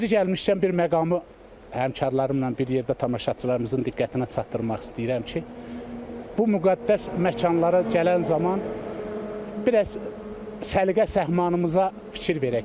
Yeri gəlmişkən bir məqamı həmkarlarımla bir yerdə tamaşaçılarımızın diqqətinə çatdırmaq istəyirəm ki, bu müqəddəs məkanlara gələn zaman biraz səliqə-səhmanımıza fikir verək.